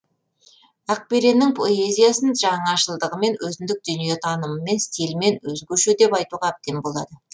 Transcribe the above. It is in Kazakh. ақбереннің поэзиясын жаңашылдығымен өзіндік дүниетанымымен стилімен өзгеше деп айтуға әбден болады